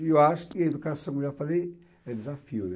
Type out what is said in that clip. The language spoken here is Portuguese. E eu acho que a educação, como já falei, é desafio, né.